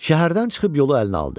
Şəhərdən çıxıb yolu əlinə aldı.